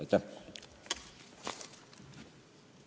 Aitäh!